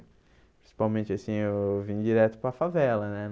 Principalmente assim, eu vim direto para a favela, né?